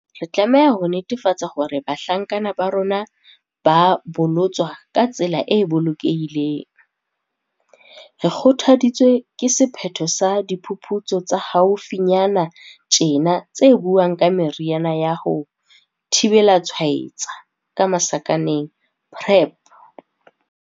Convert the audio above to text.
Re tlameha ho netefatsa hore bahlankana ba rona ba bolotswa ka tsela e bolokehileng. Re kgothaditswe ke sephetho sa diphuputsu tsa haufi nyana tjena tse buang ka meriana ya ho thibela tshwaetseha, PrEP.